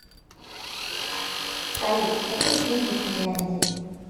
салют какие деньги в финляндии